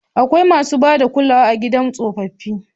Akwai masu ba da kulawa a gidan tsofaffi.